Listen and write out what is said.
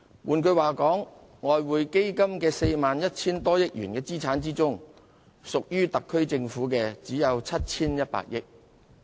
換言之，在外匯基金 41,000 多億元的資產中，屬於特區政府的只有 7,100 億元。